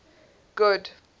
good